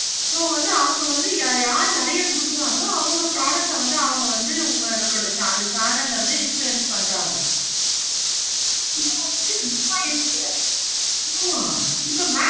so வந்து அவங்க வந்து யாரு யாரு நெறைய கொடுக்குறாங்களோ அவங்க product வந்து அவங்க வந்து நம்மளோட channel ஆஹ் வந்து influence பண்றாங்க. இப்போ வந்து influencer